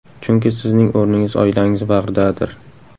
Chunki sizning o‘rningiz oilangiz bag‘ridadir.